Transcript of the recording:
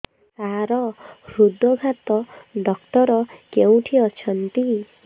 ସାର ହୃଦଘାତ ଡକ୍ଟର କେଉଁଠି ଅଛନ୍ତି